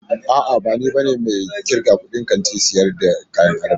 A'a, ba ni bane mai irgan kudin Kantin sayar da kayan adamawa.